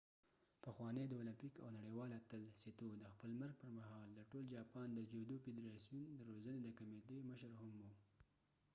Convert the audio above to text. پخوانی د اولمپیک او نړیوال اتل سیتو د خپل مرګ پر مهال د ټول جاپان د جودو فدراسیون د روزنې د کمیتې مشر هم و